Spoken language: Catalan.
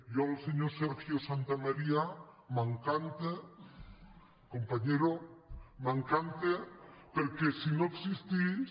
jo el senyor sergio santamaría m’encanta compañerom’encanta perquè si no existís